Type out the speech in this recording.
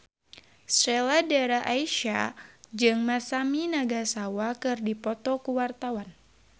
Sheila Dara Aisha jeung Masami Nagasawa keur dipoto ku wartawan